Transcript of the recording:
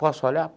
Posso olhar?